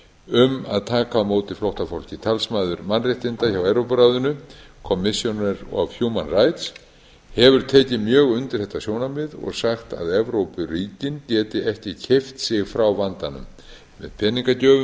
um að taka á móti flóttafólki talsmaður mannréttinda hjá evrópuráðinu hefur tekið mjög undir þetta sjónarmið og sagt að evrópuríkin geti ekki keypt sig frá vandanum með peningagjöfum